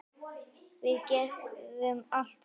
Við gerum allt saman.